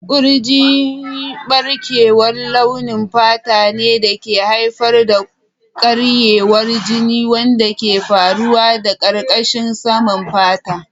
Kurji ɓarkewar launin fata ne da ke haifar da karyewar jini wanda ke faruwa a ƙarƙashin saman fata.